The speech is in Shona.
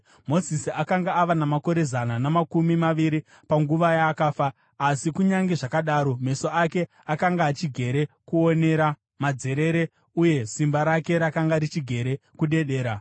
Mozisi akanga ava namakore zana namakumi maviri panguva yaakafa, asi kunyange zvakadaro, meso ake akanga achigere kuonera madzerere uye simba rake rakanga richigere kuderera.